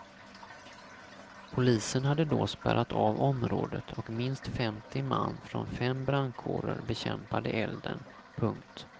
Polisen hade då spärrat av området och minst femtio man från fem brandkårer bekämpade elden. punkt